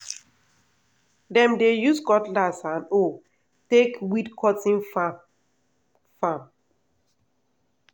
dem dey use cutlass and hoe take weed cotton farm. farm.